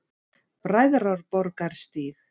Bræðraborgarstíg